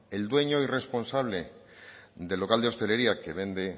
el dueño y responsable del local de hostelería que vende